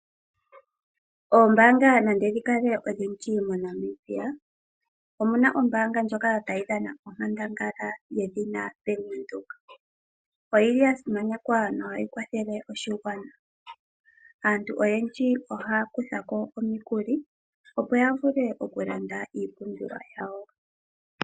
Oombanga nande dhi kale odhindji moNamibia Omuna ombaanga ndjoka tayi dhana onkandangala yedhina Bank-Windhoek. Oyili ya simanekwa nohayi kwathele oshigwana. Aantu oyendji ohaya kuthako omikuli opo vule oku landa iimpumbiwa yawo.